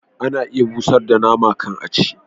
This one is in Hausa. Ana iya busar da nama kan a ci